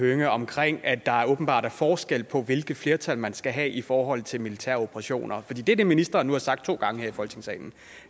hønge omkring at der åbenbart er forskel på hvilke flertal man skal have i forhold til militære operationer fordi det er det ministeren nu har sagt to gange her i folketingssalen